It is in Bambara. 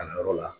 Kalanyɔrɔ la